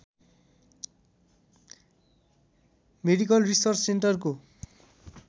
medical research सेन्टरको